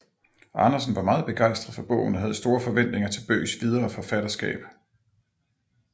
Andersen var meget begejstret for bogen og havde store forventninger til Bøghs videre forfatterskab